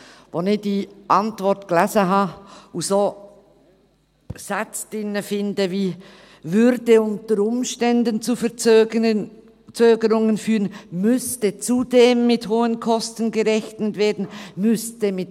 Als ich diese Antwort las und darin Sätze fand wie: «würde unter Umständen zu Verzögerungen führen», «müsste zudem mit hohen Kosten gerechnet werden», «müsste […